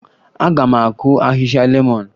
Aga m akụ ahịhịa lemọn